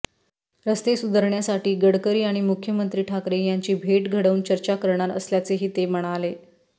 रस्ते सुधारण्यासाठी गडकरी आणि मुख्यमंत्री ठाकरे यांची भेट घडवून चर्चा करणार असल्याचेही ते म्हणाले